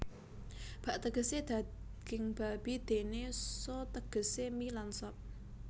Bak tegesé daging babi déné so tegesé mi lan sop